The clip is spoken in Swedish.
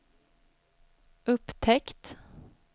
upptäckt